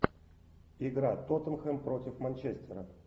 игра тоттенхэм против манчестера